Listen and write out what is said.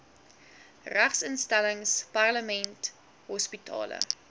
regeringsinstellings parlement hospitale